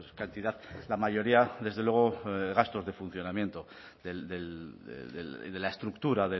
cantidad la mayoría desde luego gastos de funcionamiento de la estructura